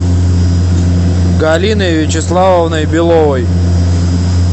галиной вячеславовной беловой